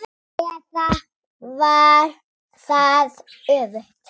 Eða var það öfugt?